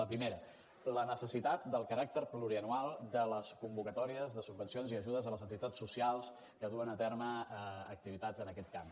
la primera la necessitat del caràcter plurianual de les convocatòries de subvencions i ajudes a les entitats socials que duen a terme activitats en aquest camp